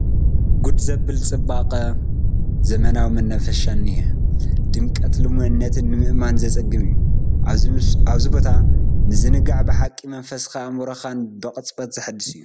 ጉድ ዘበለ ፅባቐ ዘለዎ መናፈሻ እኒሀ፡፡ ድምቀት ልሙዕነቱ ንምእማን ዘፅግም እዩ፡፡ ኣብዚ ቦታ ምዝንጋዕ ብሓቂ መንፈስካን ኣእምሮኻን ብቕፅበት ዘሕድስ እዩ፡፡